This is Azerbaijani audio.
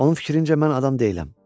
Onun fikrincə mən adam deyiləm.